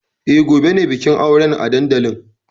E, gobe ne bikin auren a dandalin.